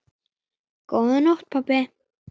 Góða nótt, pabbi.